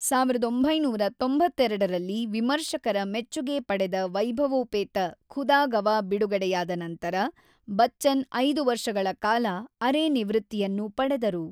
೧೯೯೨ ರಲ್ಲಿ ವಿಮರ್ಶಕರ ಮೆಚ್ಚುಗೆ ಪಡೆದ ವೈಭವೋಪೇತ 'ಖುದಾ ಗವಾ' ಬಿಡುಗಡೆಯಾದ ನಂತರ, ಬಚ್ಚನ್ ಐದು ವರ್ಷಗಳ ಕಾಲ ಅರೆ-ನಿವೃತ್ತಿಯನ್ನು ಪಡೆದರು.